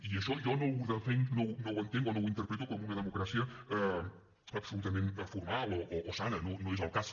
i això jo no ho entenc o no ho interpreto com una democràcia absolutament formal o sana no és el cas